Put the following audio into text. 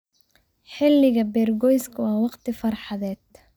Xilliga beergooyska waa wakhti farxadeed.